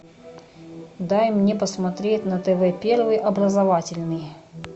дай мне посмотреть на тв первый образовательный